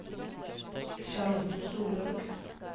Charlotte Solhaug